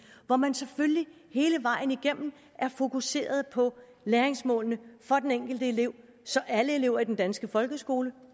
hvor man selvfølgelig hele vejen igennem er fokuseret på læringsmålene for den enkelte elev så alle elever i den danske folkeskole